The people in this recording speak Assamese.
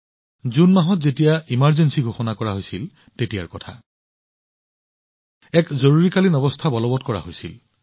জুন মাহত এই একেটা সময়তে জৰুৰীকালীন অৱস্থা জাৰি কৰা হৈছিল